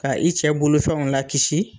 Ka i cɛ bolofɛnw la kisi